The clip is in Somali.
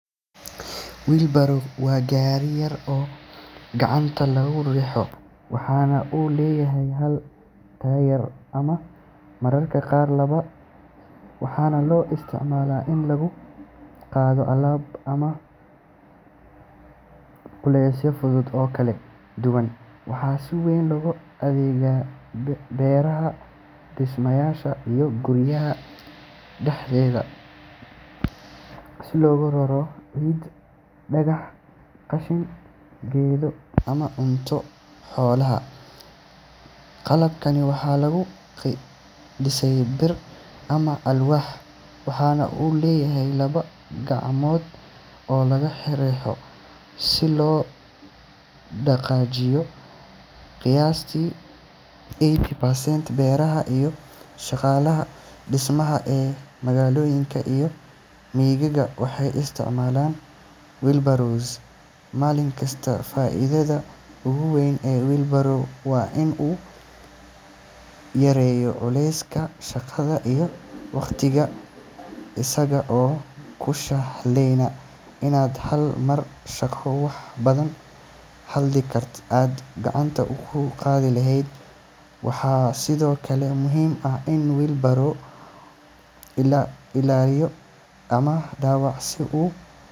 Wheelbarrow waa gaari yar oo gacanta lagu riixo, waxaana uu leeyahay hal taayir ama mararka qaar laba, waxaana loo isticmaalaa in lagu qaado alaab ama culeysyo fudud oo kala duwan. Waxaa si weyn looga adeegsadaa beeraha, dhismayaasha, iyo guryaha dhexdeeda si loogu raro ciid, dhagax, qashin, geedo, ama cunto xoolaad. Qalabkan waxaa lagu dhisay bir ama alwaax, waxaana uu leeyahay laba gacanood oo laga riixo si loo dhaqaajiyo. Qiyaastii eighty percent beeraleyda iyo shaqaalaha dhismaha ee magaalooyinka iyo miyiga waxay isticmaalaan wheelbarrows maalin kasta. Faa’iidada ugu weyn ee wheelbarrow waa in uu yareeyo culayska shaqada iyo waqtiga, isaga oo kuu sahlaya inaad hal mar qaaddo wax badan halkii aad gacanta ku qaadi lahayd. Waxaa sidoo kale muhiim ah in wheelbarrow laga ilaaliyo daxalka ama dhaawaca si uu.